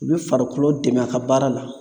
U bɛ farikolo dɛmɛ a ka baara la